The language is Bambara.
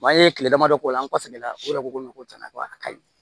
an ye kile damadɔ k'o la an kɔfɛ la o yɛrɛ ko ko ko cɛn na ko a ka ɲi